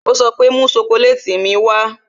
Ó sọ pé "Mú sokoleti mi wá"